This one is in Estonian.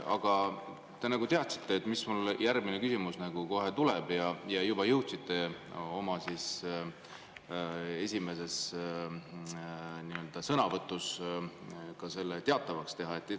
Aga te nagu teadsite, mis küsimus mul järgmisena kohe tuleb, ja juba jõudsite oma esimeses sõnavõtus selle teatavaks teha.